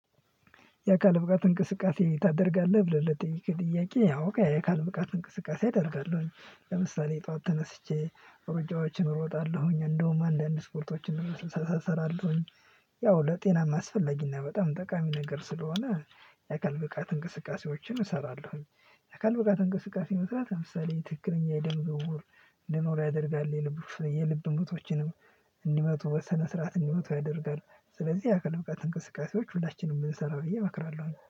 የአካል ብቃት እንቅስቃሴ ታደርጋለህ ብለህ ለጠየከኝ ጥያቄ አውቃለሁ የአካል ብቃት እንቅስቃሴ አደርጋለሁኝ ለምሳሌ ጠዋት ተነስቼ ሩጫዎችን እሮጣለሁኝ እንደውም አንዳንድ ስፖርቶችን እሰራለሁኝ። ያው ለጤና አስፈለጊና በጣም ጠቃሚ ነገር ስለሆነ የአካል ብቃት እንቅስቃሴዎችን እሰራለሁኝ። የአካል ብቃት እንቅስቃሴ መስራት ለምሳሌ ትክክለኛ የደም ዝዉውር እንዲኖር ያደርጋል የልብ የልብ ምቶችንም እንዲመቱ በሰነ ስርዓት እንዲመቱ ያደርጋል። ስለዚህ ያአካል ብቃት እንቅስቃሴዎች ሁላችንም ብንሰራ ብዬ አመክራለሁኝ